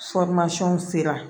sera